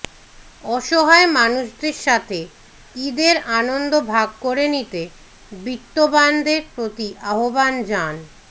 অসহায় মানুষদের সাথে ঈদের আনন্দ ভাগ করে নিতে বিত্তবানদের প্রতি আহ্বান জান